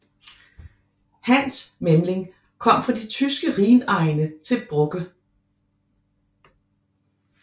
Hans Memling kom fra de tyske Rhinegne til Brugge